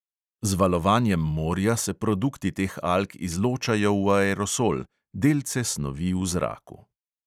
Z valovanjem morja se produkti teh alg izločajo v aerosol – delce snovi v zraku.